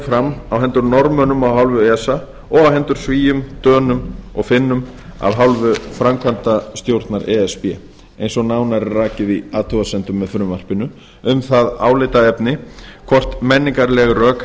fram á hendur norðmönnum af hálfu esa og á hendur svíum dönum og finnum af hálfu framkvæmdastjórnar e s b eins og nánar er rakið í athugasemdum með frumvarpinu um það álitaefni hvort menningarleg rök